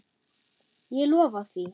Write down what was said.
Ég lofa því.